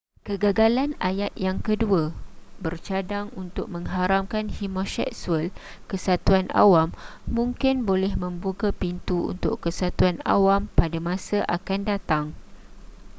kegagalan ayat yang kedua bercadang untuk mengharamkan homoseksual kesatuan awam mungkin boleh membuka pintu untuk kesatuan awam pada masa akan datang